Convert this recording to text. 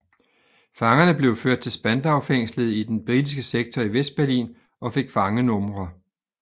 Fangerne blev ført til Spandaufængslet i den britiske sektor i Vestberlin og fik fangenumre